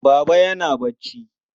Baba yana barci.